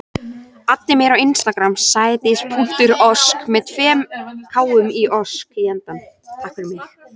Eitt sinn var ég samferða manni í flugvél.